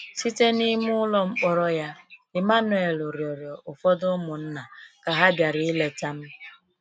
Site n’ime ụlọ mkpọrọ ya, Emmanuel rịrịọ ụfọdụ ụmụnna ka ha bịara ileta m.